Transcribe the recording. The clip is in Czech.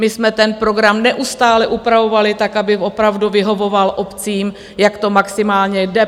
My jsme ten program neustále upravovali tak, aby opravdu vyhovoval obcím, jak to maximálně jde.